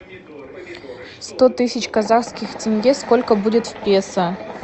сто тысяч казахских тенге сколько будет в песо